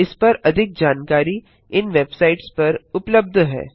इस पर अधिक जानकारी इन वेबसाइट्स पर उबलब्ध है